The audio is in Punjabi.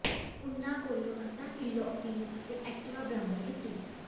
ਉਨ੍ਹਾਂ ਕੋਲੋਂ ਅੱਧਾ ਕਿਲੋ ਅਫੀਮ ਅਤੇ ਐਕਟਿਵਾ ਬਰਾਮਦ ਕੀਤੀ